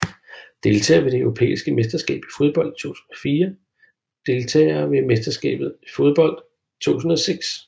Deltagere ved det europæiske mesterskab i fodbold 2004 Deltagere ved verdensmesterskabet i fodbold 2006